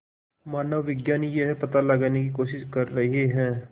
मानवविज्ञानी यह पता लगाने की कोशिश कर रहे हैं